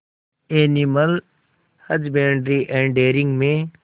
animal husbandry and dairying में